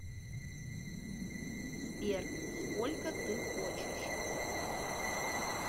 сбер сколько ты хочешь